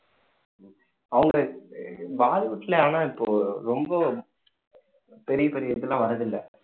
அவங்க பாலிவுட் ல ஆனா இப்போ ரொம்ப பெரிய பெரிய இதெல்லாம் வரதில்லை